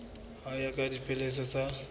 ho ya ka dipehelo tsa